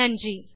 நன்றி